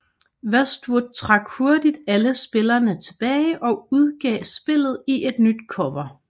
Westwood trak hurtigt alle spillene tilbage og udgav spillet i et nyt cover